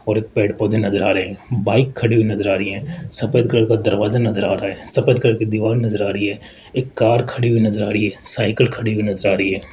और एक पेड़ पौधे नजर आ रहे हैं बाइक खड़ी हुई नजर आ रही हैं सफेद कलर का दरवाजा नजर आ रहा है सफेद कलर की दीवार नजर आ रही है एक कार खड़ी हुई नजर आ रही है साइकल खड़ी हुई नजर आ रही है।